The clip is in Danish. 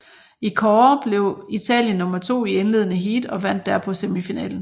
I kårde blev Italien nummer to i indledende heat og vandt derpå semifinalen